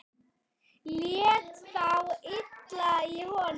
Lét þá illa í honum.